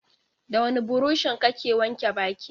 Da wani buroshi kake wanke baki?